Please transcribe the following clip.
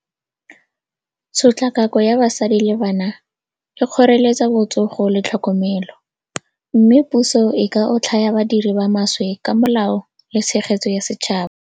Tshotlakako ya basadi le bana e kgoreletsa botsogo le tlhokomelo, mme puso e ka otlhaya badiri ba maswe ka molao le tshegetso ya setšhaba.